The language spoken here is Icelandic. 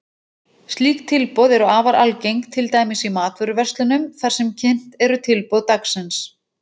Slík tilboð eru afar algeng, til dæmis í matvöruverslunum þar sem kynnt eru tilboð dagsins.